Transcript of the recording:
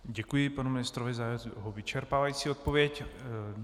Děkuji panu ministrovi za jeho vyčerpávající odpověď.